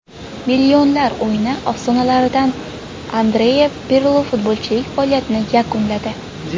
Millionlar o‘yini afsonalaridan Andrea Pirlo futbolchilik faoliyatini yakunladi.